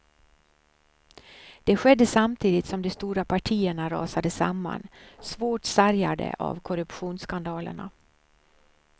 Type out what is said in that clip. Det skedde samtidigt som de stora partierna rasade samman, svårt sargade av korruptionsskandalerna.